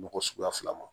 Mɔgɔ suguya fila ma